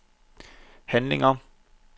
handlinger